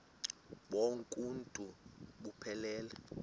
bonk uuntu buphelele